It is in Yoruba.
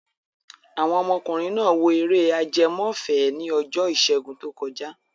Àwọn ọmọkùnrin náà wo eré ajẹmọ́fẹ̀ẹ́ ni ọjọ́ ìṣẹ́gun tó kọjá.